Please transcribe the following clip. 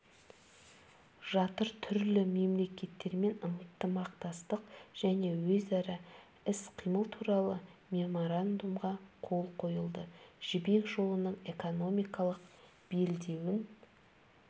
жатыр түрлі мемлекеттермен ынтымақтастық және өзара іс-қимыл туралы меморандумға қол қойылды жібек жолының экономикалық белдеуін